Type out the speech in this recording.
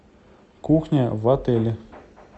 кухня в отеле